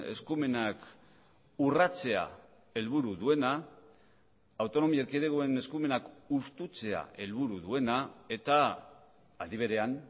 eskumenak urratzea helburu duena autonomia erkidegoen eskumenak hustutzea helburu duena eta aldi berean